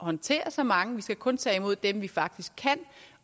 håndtere så mange vi skal kun tage imod dem vi faktisk kan